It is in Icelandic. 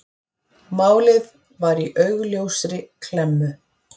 Málið var í augljósri klemmu.